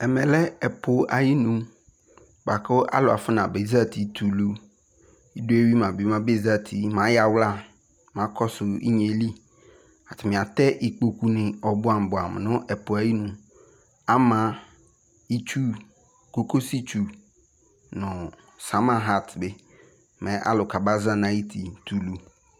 Ɛmɛ lɛ ɛpʋ ayinʋ boa kʋ alʋ afɔnabezati tɛ ulu Idɔ eyui ma bi mɛ abezati mɛ ayawla mɛ akɔsʋ inye eli Atani atɛ ikpokʋ ni ɔbuamʋ - ɔbuamʋ nʋ ɛpʋ yɛ ayi nu Ama itsu kokosi tsu nʋ samahati bi mɛ alʋ kaba zati nʋ ayuti tʋ ulu